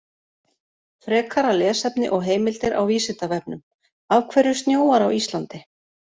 Frekara lesefni og heimildir á Vísindavefnum: Af hverju snjóar á Íslandi?